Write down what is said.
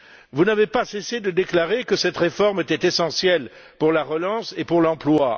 Vous n'avez pas cessé de déclarer que cette réforme était essentielle pour la relance et pour l'emploi.